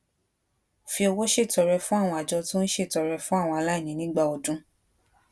fi owó ṣètọrẹ fún àwọn àjọ tó ń ṣètọrẹ fún àwọn aláìní nígbà ọdún